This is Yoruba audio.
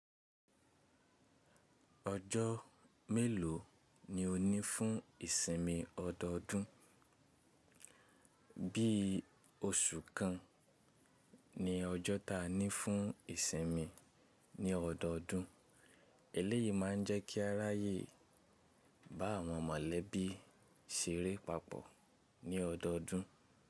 Ojo mélòó ni o ní fún ìsinmi ọdọọdún? Bí i oṣù kan ni ọjọ́ ta ní fún ìsinmi ní ọdọọdún. Èléyìí ma ń jẹ́ kí a ráyè bá àwọn mọ̀lẹ́bí ṣeré papọ̀ ní ọdọọdún.